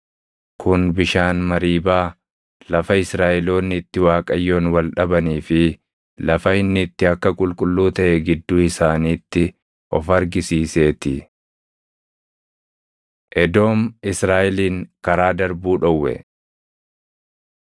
Kun bishaan Mariibaa, lafa Israaʼeloonni itti Waaqayyoon wal dhabanii fi lafa inni itti akka qulqulluu taʼe gidduu isaaniitti of argisiisee ti. Edoom Israaʼelin Karaa Darbuu Dhowwe